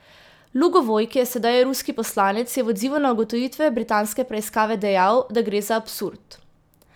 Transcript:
Lugovoj, ki je sedaj ruski poslanec, je v odzivu na ugotovitve britanske preiskave dejal, da gre za absurd.